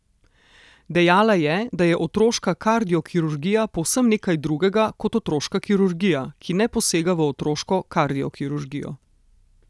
Dejala je, da je otroška kardiokirurgija povsem nekaj drugega kot otroška kirurgija, ki ne posega v otroško kardiokirurgijo.